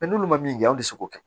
n'olu min an ti se k'o kɛ